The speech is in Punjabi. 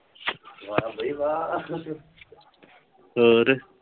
ਵਾਹ ਬਈ ਵਾਹ ਹੋਰ।